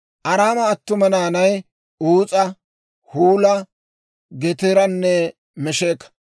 Araama attuma naanay: Uus'a, Huula, Geteeranne Mesheka.